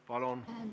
Palun!